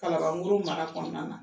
Kalaban koro mara kɔnɔna na